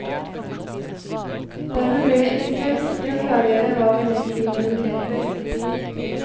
Dermed blir det ekstra viktig å klargjøre hva vi legger i våre begreper.